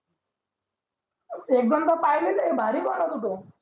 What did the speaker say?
एक दोन द पाहिलेले भारी बनवतो तो